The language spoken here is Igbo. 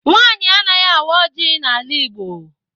Nwaanyị anaghị awa oji n' ala igbo.